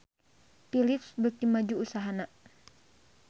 Philips beuki maju usahana